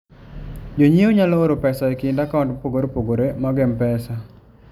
Jonyiewo nyalo oro pesa e kind akaunt mopogore opogore mag M-Pesa.